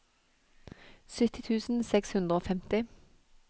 sytti tusen seks hundre og femti